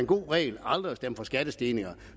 god regel aldrig at stemme for skattestigninger